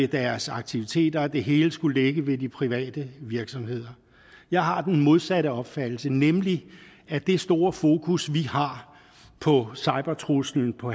deres aktiviteter og det hele skulle ligge ved de private virksomheder jeg har den modsatte opfattelse nemlig at det store fokus vi har på cybertruslen på